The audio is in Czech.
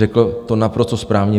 Řekl to naprosto správně.